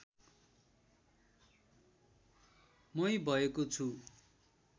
मै भएको छु